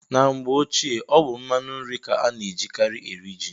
Na mgbe ochie, ọ bụ mmanụ nri ka a na-ejikarị eri ji.